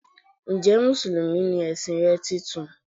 Njẹ́ musulumi ni ẹ̀sìn rẹ titun?